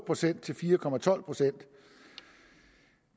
procent til fire procent